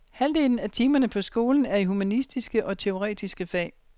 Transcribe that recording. Halvdelen af timerne på skolen er i humanistiske og teoretiske fag.